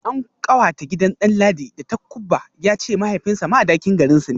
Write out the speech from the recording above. An kawata gidan Danladi da takubba, ya ce mahaifinsa Madakin garinsu ne